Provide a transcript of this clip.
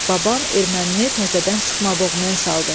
Baban ermənini təzədən sıxma boğmaya saldı.